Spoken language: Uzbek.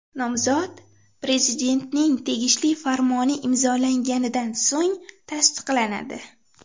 Nomzod Prezidentning tegishli farmoni imzolanganidan so‘ng tasdiqlanadi.